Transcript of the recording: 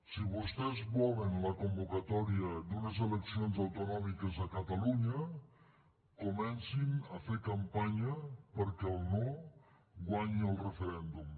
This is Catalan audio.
si vostès volen la convocatòria d’unes eleccions autonòmiques a catalunya comencin a fer campanya perquè el no guanyi al referèndum